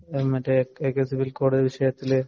മറ്റേ എ കെ സിവില്‍ കോഡ് വിഷയത്തില്